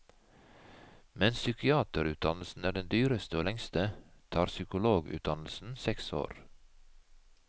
Mens psykiaterutdannelsen er den dyreste og lengste, tar psykologutdannelsen seks år.